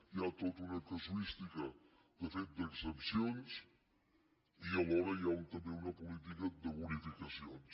hi ha tota una casuística de fet d’excepcions i alhora hi ha també una política de bonificacions